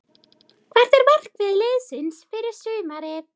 Hvert er markmið liðsins fyrir sumarið?